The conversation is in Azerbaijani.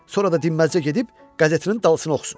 Sonra da dinməzcə gedib qəzetinin dalısını oxusun.